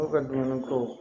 Aw ka dumuni ko